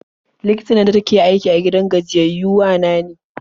Likitan nan dake aiki a gidan gajiyayyau wa na ne.